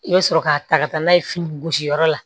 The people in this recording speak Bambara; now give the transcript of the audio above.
I bɛ sɔrɔ k'a ta ka taa n'a ye fini gosi yɔrɔ la